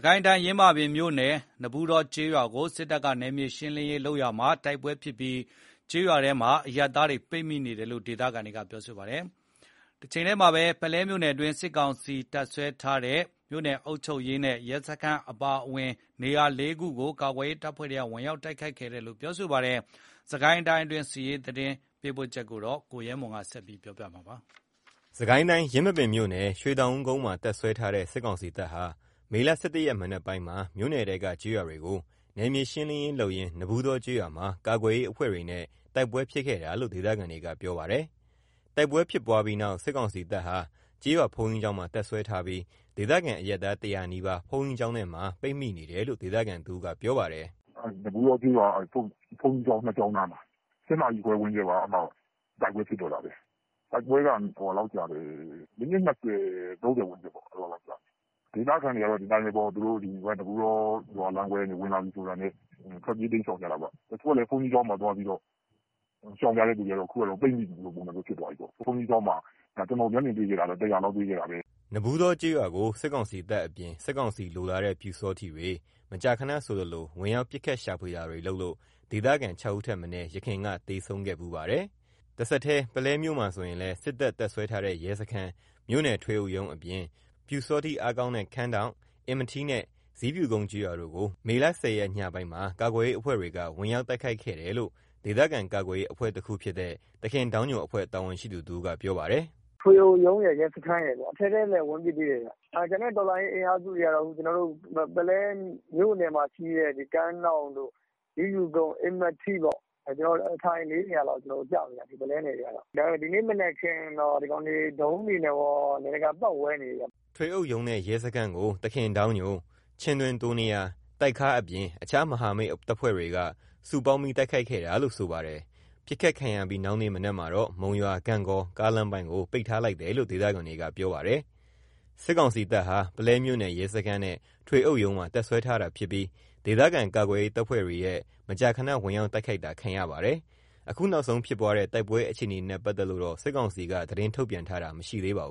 ကိုင်းတိုင်း ယင်းမာပင်မြို့နယ် နဘူးတော ကျေးရွာကို စစ်တပ်က နယ်မြေရှင်းလင်းရေးလုပ်ရာမှာ တိုက်ပွဲဖြစ်ပြီး ကျေးရွာထဲမှာ အရပ်သားတွေ ပိတ်မိနေတယ်လို့ ဒေသခံတွေက ပြောပါတယ်။ တချိန်းတည်းမှာတော့ ပုလဲမြို့နယ်တွင်း စစ်ကောင်စီတပ် တပ်စွဲထားတဲ့ ရဲစခန်းအပါအဝင် နေရာ ၄ နေရာကို ကာကွယ်ရေးအဖွဲ့တွေက ဝင်ရောက်တိုက်ခိုက်ခဲ့ပါတယ်။ စစ်ကိုင်းတိုင်းတွင်း စစ်ရေးသတင်းပေးပို့ချက်ကို ကိုရဲမွန်ပြောပြမှာပါ။ စစ်ကိုင်းတိုင်း ယင်းမာပင်မြို့နယ် ရွှေတောင်ဦးကုန်းမှာ တပ်စွဲထားတဲ့ စစ်ကောင်စီတပ်ဟာ မေ ၁၁ ရက် မနက်ပိုင်းမှာ မြို့နယ်ထဲက ကျေးရွာတွေကို နယ်မြေရှင်းလင်းရေးလုပ်ရင်း နဘူးတောကျေးရွာမှာ ကာကွယ်ရေး အဖွဲ့တွေနဲ့ တိုက်ပွဲဖြစ်ခဲ့တာလို့ ဒေသခံတွေကပြောပါတယ်။ တိုက်ပွဲဖြစ်ပွားပြီးနောက် စစ်ကောင်စီတပ်ဟာ ကျေးရွာဘုန်းကြီးကျောင်းမှာ တပ်စွဲထားပြီး၊ ဒေသခံ အရပ်သား ၁၀၀ နီးပါး ဘုန်းကြီးကျောင်းထဲမှာ ပိတ်မိနေတယ်လို့ ဒေသခံတဦးက ပြောပါတယ်။ “နဘူးတောကျေးရွာဘုန်းကြီးကျောင်း ၂ ကျောင်းနားမှာ ၈ နာရီခွဲဝန်းကျင်လောက်မှာ တိုက်ပွဲဖြစ်တော့တာပဲ။ တိုက်ပွဲက မိနစ် ၂၀/၃၀ ဝန်းကျင်ပေါ့။ ဒေသခံတွေကတော့ သူတို့ နဘူးတော ရွာလမ်းခွဲကနေ ဝင်လာပြီဆိုတာနဲ့ ထွက်ပြေးတိမ်းရှောင်ကြတာပေါ့။ တချို့က ဘုန်းကြီးကျောင်းမှာ သွားပြီး ရှောင်ကြတဲ့သူတွေကြတော့ ပိတ်မိသလို ပုံစံမျိုးဖြစ်သွားပြီပေါ့။ ဘုန်းကြီးကျောင်းမှာ ကျွန်တော်မျက်မြင်တွေ့ခဲ့တာ ၁၀၀ လောက်တွေ့ခဲ့တာပဲ။” နဘူးတောကျေးရွာကို စစ်ကောင်စီတပ်အပြင် စစ်ကောင်စီလိုလားတဲ့ ပျူစောထီးတွေ မကြာခဏဆိုသလို ဝင်ရောက် ပစ်ခတ်ရှာဖွေတာတွေလုပ်လို့ ဒေသခံ ၆ ဦးထက်မနည်း ယခင်က သေဆုံးခဲ့ဖူးပါတယ်။ တဆက်တည်း ပုလဲမြို့မှာဆိုရင်လည်း စစ်တပ် တပ်စွဲထားတဲ့ ရဲစခန်း၊ မြို့နယ်ထွေအုပ်ရုံးအပြင် ပျူစောထီးအားကောင်းတဲ့ ကန်းဒေါင့် အင်မထီးနဲ့ ဇီးဖြူကုန်းကျေးရွာတို့ကို မေ ၁၀ ရက် ညပိုင်းမှာ ကာကွယ်ရေးအဖွဲ့တွေက ဝင်ရောက်တိုက်ခိုက်ခဲ့တယ်လို့ ဒေသခံကာကွယ်ရေးအဖွဲ့တခုဖြစ်တဲ့ သခင်ဒေါင်းညိုအဖွဲ့ တာဝန်ရှိသူတဦးက ပြောပါတယ်။ “ထွေအုပ်ရုံးရယ် ရဲစခန်းရယ်ပေါ့။ အထဲထဲလည်း ဝင်ပစ်သေးတယ်။ ကျန်တဲ့ တော်လှန်ရေး အင်အားစုတွေကတော့ ကျွန်တော်တို့ ပုလဲမြို့နယ်မှာ ရှိတဲ့ ကမ်းဒေါင့် ဇီးဖြူကုန်း အင်မထီး အထိုင် ၄ နေရာလောက်ရှိမယ်။ ဒီနေ့မနက်ခင်းတော့ ဒရုန်းတွေနဲ့တော နေရာတကာ ပတ်ဝဲနေတယ်။” ထွေအုပ်ရုံးနဲ့ ရဲစခန်းကို သခင်ဒေါင်းညို ၊ ချင်းတွင်း တိုးနယား ၊ တိုက်ခါး အပြင် အခြား မဟာမိတ်တပ်ဖွဲ့တွေက စုပေါင်းပြီး တိုက်ခိုက်ခဲ့တာလို့ဆိုပါတယ်။ ပစ်ခတ်ခံရပြီးနောက်နေ့ မနက်မှာတော့ မုံရွာ-ဂန့်ဂေါ ကားလမ်းပိုင်းကို ပိတ်ထားလိုက်တယ်လို့ ဒေသခံတွေက ပြောပါတယ်။ စစ်ကောင်စီတပ်ဟာ ပုလဲမြို့နယ်ရဲစခန်းနဲ့ ထွေအုပ်ရုံးမှာ တပ်စွဲထားတာဖြစ်ပြီး ဒေသခံကာကွယ်ရေး တပ်ဖွဲ့တွေရဲ့ မကြာခဏဝင်ရောက်တိုက်ခိုက်တာခံရပါတယ်။ အခုနောက်ဆုံးဖြစ်ပွားတဲ့ တိုက်ပွဲအခြေအနေနဲ့ ပတ်သက်လို့တော့ စစ်ကောင်စီက သတင်းထုတ်ပြန်တာတော့ မရှိသေးပါဘ